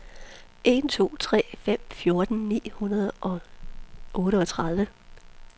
en to tre fem fjorten ni hundrede og otteogtredive